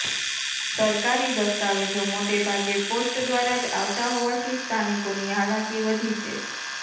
સરકારી દસ્તાવેજો મોટેભાગે પોસ્ટ દ્વારા જ આવતા હોવાથી સ્થાનિકોની હાલાકી વધી છે